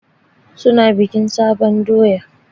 Su na bikin sabon doya.